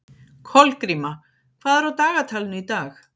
Kolgríma, hvað er á dagatalinu í dag?